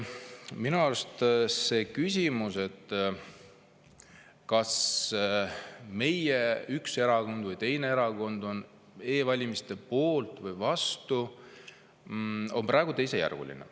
Minu arust see küsimus, kas üks erakond või teine erakond on e-valimiste poolt või vastu, on praegu teisejärguline.